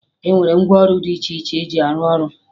E nwere ngwaọrụ dị iche iche eji arụ ọrụ